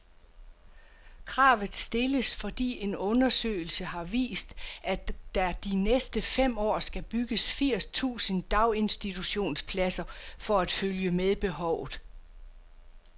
Kravet stilles, fordi en undersøgelse har vist, at der de næste fem år skal bygges firs tusind daginstitutionspladser for at følge med behovet.